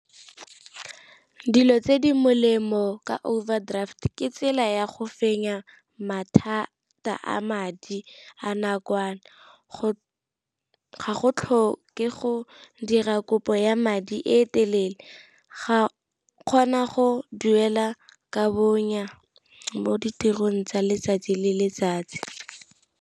Dilo tse di molemo ka overdraft ke tsela ya go fenya mathata a madi a nakwana, ga go tlhoke go ke go dira kopo ya madi e e telele, ga kgona go duela ka bonya mo ditirong tsa letsatsi le letsatsi.